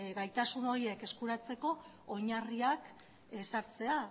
gaitasun horiek eskuratzeko oinarriak ezartzea